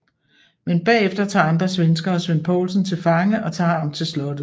Men bagefter tager andre svenskere Svend Poulsen til fange og tager ham til slottet